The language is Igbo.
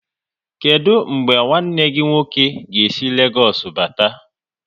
Kedụ mgbe nwanne gị nwoke ga-esi Legoosu bata?